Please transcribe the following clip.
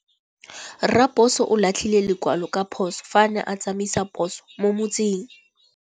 Raposo o latlhie lekwalô ka phosô fa a ne a tsamaisa poso mo motseng.